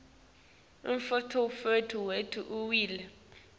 umnotfo wetfu uwile